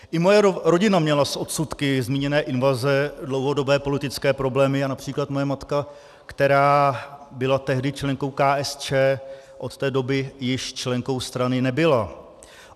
I moje rodina měla s odsudky zmíněné invaze dlouhodobé politické problémy a například moje matka, která byla tehdy členkou KSČ, od té doby již členkou strany nebyla.